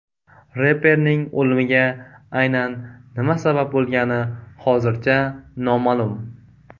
Reperning o‘limiga aynan nima sabab bo‘lgani hozircha noma’lum.